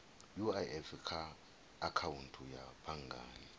uif kha akhaunthu ya banngani